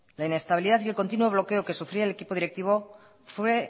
la inestabilidad y el continuo bloqueo que sufría el equipo directivo fue